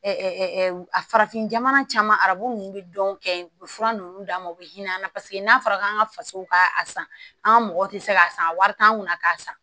a farafin jamana caman arabu ninnu bɛ dɔn kɛ u bɛ fura nunnu d'a ma u bɛ hinɛ an na paseke n'a fɔra k'an ka fasow ka a san an ka mɔgɔw tɛ se k'a san wari t'an kunna k'a san